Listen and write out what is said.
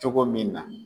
Cogo min na